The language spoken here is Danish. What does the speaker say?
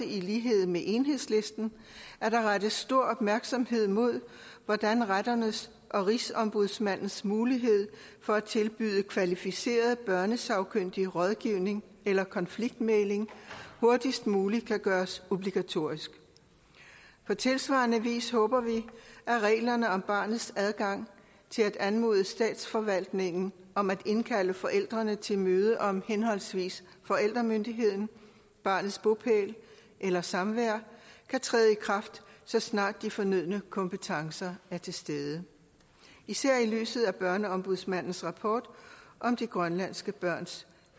i lighed med enhedslisten at der rettes stor opmærksomhed mod hvordan retternes og rigsombudsmandens mulighed for at tilbyde kvalificeret børnesagkyndig rådgivning eller konfliktmægling hurtigst muligt kan gøres obligatorisk på tilsvarende vis håber vi at reglerne om barnets adgang til at anmode statsforvaltningen om at indkalde forældrene til møde om forældremyndigheden barnets bopæl eller samvær kan træde i kraft så snart de fornødne kompetencer er til stede især i lyset af børneombudsmandens rapport om de grønlandske børns